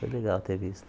Foi legal ter visto.